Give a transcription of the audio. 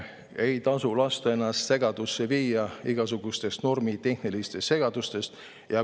Ei tasu lasta ennast segadusse viia igasugustest normitehnilistest segadustest.